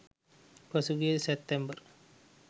පසුගිය සැප්තැම්බර්